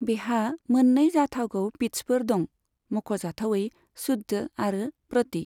बेहा मोननै जाथावगौ पिट्सफोर दं, मख'जाथावयै शुद्ध आरो प्रति।